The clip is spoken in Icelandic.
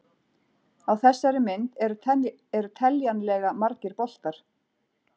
Á þessari mynd eru teljanlega margir boltar.